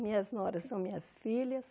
Minhas noras são minhas filhas.